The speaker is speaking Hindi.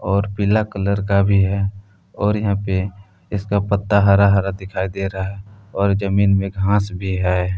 और पीला कलर का भी है और यहां पे इसका पत्ता हरा हरा दिखाई दे रहा है और जमीन में घास भी है।